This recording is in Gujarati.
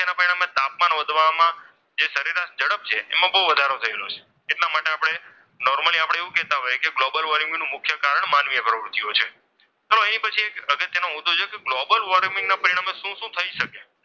ઝડપ છે એમાં બહુ વધારો થયેલો છે એટલા માટે આપણે, નોર્મલી આપણે એવું કહેતા હોય ગ્લોબલ વોર્મિંગ નું મુખ્ય કારણ માનવીય પ્રવૃત્તિઓ છે. અને એ પછી એક અગત્યનો મુદ્દો છે. ગ્લોબલ વોર્મિંગના પરિણામે શું શું થઈ શકે?